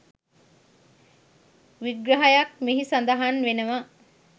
විග්‍රහයක් මෙහි සඳහන් වෙනවා